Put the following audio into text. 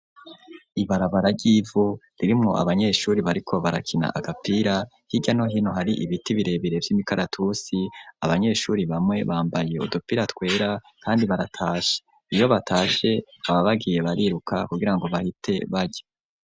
ibarabara ryivu ririmwo abanyeshure bariko barakina agapira hirya no hino hari ibiti birebire vy'imikaratusi abanyeshure bamwe bambaye udupira twera kandi baratashe iyo batashe baba bagiye bariruka kugira ngo bahite barya.